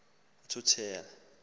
uthuthula